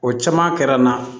O caman kɛra n na